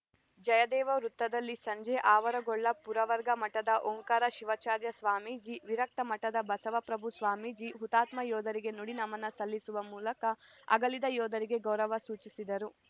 ಜಯದೇವ ವೃತ್ತದಲ್ಲಿ ಸಂಜೆ ಆವರಗೊಳ್ಳ ಪುರವರ್ಗ ಮಠದ ಓಂಕಾರ ಶಿವಾಚಾರ್ಯ ಸ್ವಾಮೀಜಿ ವಿರಕ್ತ ಮಠದ ಬಸವಪ್ರಭು ಸ್ವಾಮೀಜಿ ಹುತಾತ್ಮ ಯೋಧರಿಗೆ ನುಡಿ ನಮನ ಸಲ್ಲಿಸುವ ಮೂಲಕ ಅಗಲಿದ ಯೋಧರಿಗೆ ಗೌರವ ಸೂಚಿಸಿದರು